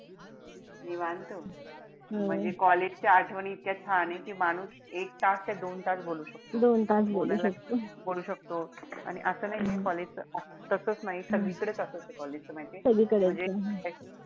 निवांत? म्हणजे college च्या आठवणी इतक्या छान ए कि माणूस एक तास काय दोन तास बोल शकतो. शकतो आणि असं नाहीये college च तसच नाई. सगळीकडे तसेच ए college च माहितीये. म्हणजे,